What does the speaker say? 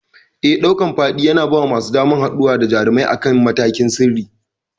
Eh, ɗaukan faɗi yana bawa masu sauraro damar haɗuwa da jarumai akan matakin sirri.